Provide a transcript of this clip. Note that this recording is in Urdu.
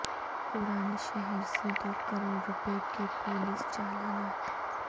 پرانے شہر سے دو کروڑ روپے کے پولیس چالانات